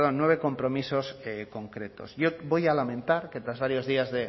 perdón nueve compromisos concretos yo voy a lamentar que tras varios días